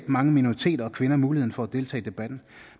mange minoriteter og kvinder muligheden for at deltage i debatten